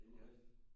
Inde i hallen?